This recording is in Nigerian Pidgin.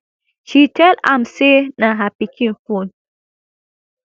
she tell am say na her pikin phone